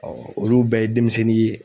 olu bɛɛ ye denmisɛnnin ye